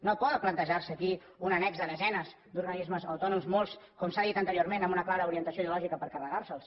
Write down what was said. no pot plantejar se aquí un annex de desenes d’organismes autònoms molts com s’ha dit anteriorment amb una clara orientació ideològica per carregar se’ls